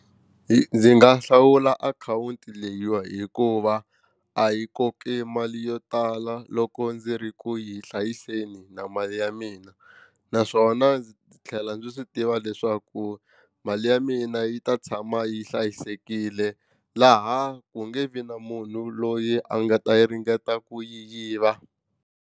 Ndzi nga hlawula akhawunti leyiwa hikuva a yi koki mali yo tala loko ndzi ri ku yi hlayiseni na mali ya mina naswona ndzi tlhela ndzi swi tiva leswaku mali ya mina yi ta tshama yi hlayisekile laha ku nge vi na munhu loyi a nga ta yi ringeta ku yi yiva.